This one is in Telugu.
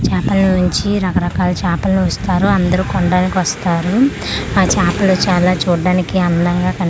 చాపల నుంచి రకరకాల చాపలను ఇస్తారు అందరూ కొనడానికి వస్తారు ఆ చాపలు చాలా చూడడానికి అందంగా కానీ--